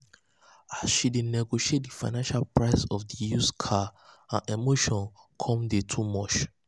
as she dey negotiate di final price of di used car her emotions come dey too much.